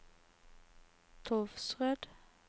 Tolvsrød